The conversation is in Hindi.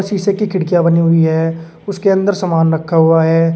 शीशे की खिड़कियां बनी हुई है उसके अंदर सामान रखा हुआ है।